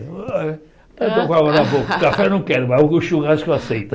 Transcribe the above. Eu estou com água na boca, café não quero, mas o churrasco eu aceito.